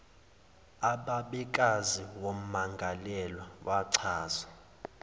ubabekazi wommangalelwa wachaza